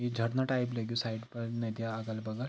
यि झरना टाईप लग्यु साईड फर नदी य् अगल-बग --